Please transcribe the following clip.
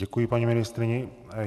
Děkuji paní ministryni.